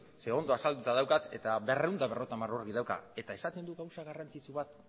zeren ondo azalduta daukat eta berrehun eta berrogeita hamar orri dauka eta esaten du gauza garrantzitsu bat